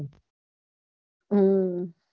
હમ